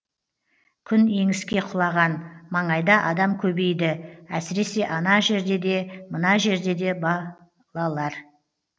күн еңіске құлаған маңайда адам көбейді әсіресе ана жерде де мына жерде де балалар